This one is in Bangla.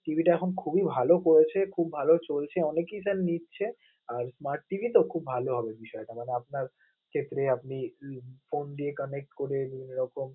TV টা এখন খুবই ভালো পেয়েছে, খুব ভালো চলছে, অনেকেই sir নিচ্ছে আর smart TV তো খুব ভালো হবে বিষয়টা মানে আপনার ক্ষেত্রে আপনি phone দিয়ে connect করে নিলেন এরকম.